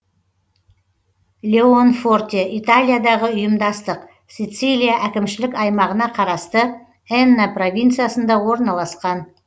леонфорте италиядағы ұйымдастық сицилия әкімшілік аймағына қарасты энна провинциясында орналасқан